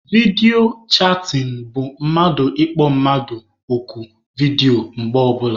Vidiyo chatịn bụ mmadụ ịkpọ mmadụ oku vidiyo mgbe ọbụla.